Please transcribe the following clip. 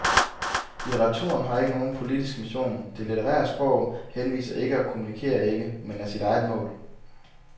Litteraturen har ikke nogen politisk mission, det litterære sprog henviser ikke og kommunikerer ikke, men er sit eget mål.